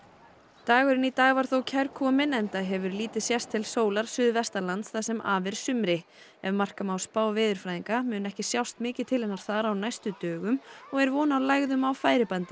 dagurinn í dag var kærkominn enda hefur lítið sést til sólar suðvestanlands það sem af er sumri ef marka má spá veðurfræðinga mun ekki sjást mikið til hennar þar á næstu dögum og er von á lægðum á færibandi